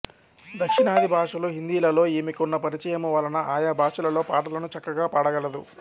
దక్షిణాది భాషలు హిందీలలో ఈమెకున్న పరిచయము వలన ఆయా భాషలలో పాటలను చక్కగా పాడగలదు